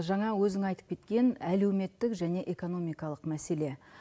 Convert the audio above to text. жаңа өзің айтып кеткен әлеуметтік және экономикалық мәселе